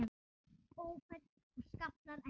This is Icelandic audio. Ófærð og skaflar ekki til.